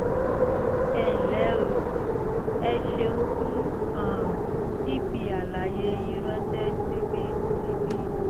ẹ ǹlẹ́ o! ẹ ṣeun fún um fífi àlàyé yín ránṣẹ́ síbí síbí